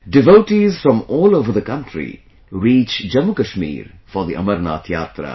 Devotees from all over the country reach Jammu Kashmir for the Amarnath Yatra